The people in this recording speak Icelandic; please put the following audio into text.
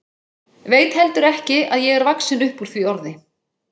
Veit heldur ekki að ég er vaxin upp úr því orði.